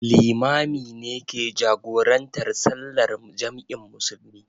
Limami ne ke jagorantar sallar jam'in musulmi.